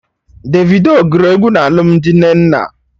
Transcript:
Davido gụrụ egwu na alụmdi Nnenna